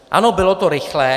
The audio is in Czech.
Ano, bylo to rychlé.